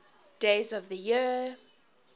days of the year